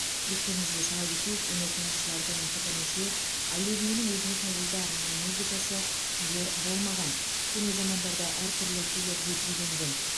естеріңізе сала кетейік өнертанушылардың пікірінше аю биінің өзіне тәуелді арнайы музыкасы күйі болмаған көне замандарда әртүрлі күйлерге биленген